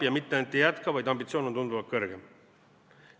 Ja mitte ainult ei jätka, vaid ambitsioon on tunduvalt kõrgem.